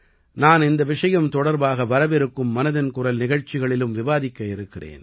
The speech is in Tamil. நான் இந்த விஷயம் தொடர்பாக வரவிருக்கும் மனதின் குரல் நிகழ்ச்சிகளிலும் விவாதிக்க இருக்கிறேன்